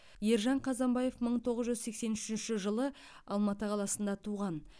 ержан қазанбаев мың тоғыз жүз сексен үшінші жылы алматы қаласында туған